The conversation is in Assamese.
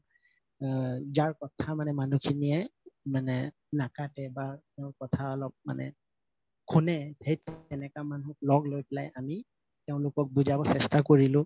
আ যাৰ কথা মানে মানুহখিনিয়ে মানে নাকাতে বা তেওঁৰ কথা অলপ মানে শুনে সেনেকা মানুহ লগ লৈ পেলাই আমি তেওঁলোকক বুজাব চেষ্টা কৰিলো